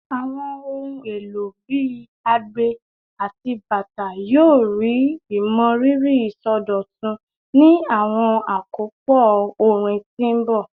Awọn ohun elo bii agbe ati bata yoo rii imọriri isọdọtun ni awọn akopọ orin ti n bọ